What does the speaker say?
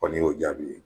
Kɔni y'o jaabi ye